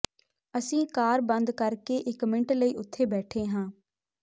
ਅਸੀਂ ਕਾਰ ਬੰਦ ਕਰ ਕੇ ਇਕ ਮਿੰਟ ਲਈ ਉੱਥੇ ਬੈਠੇ ਹਾਂ